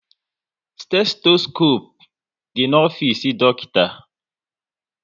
Stetoskope dị na ofisi dọkịta